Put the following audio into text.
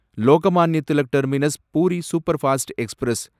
Lokmanya Tilak terminus Puri superfast express